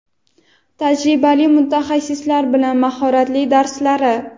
Tajribali mutaxassislar bilan mahorat darslari.